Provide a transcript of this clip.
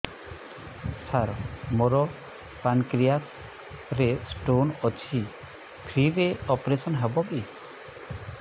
ସାର ମୋର ପାନକ୍ରିଆସ ରେ ସ୍ଟୋନ ଅଛି ଫ୍ରି ରେ ଅପେରସନ ହେବ କି